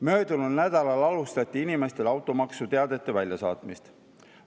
Möödunud nädalal alustati inimestele automaksuteadete väljasaatmist.